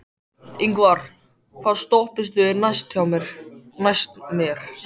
Ingvar, hvaða stoppistöð er næst mér?